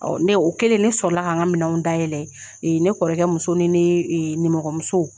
ne o kɛlen ne sɔrɔla ka an ga minɛnw dayɛlɛ, ne kɔrɔkɛ muso ni ne nimɔgɔmuso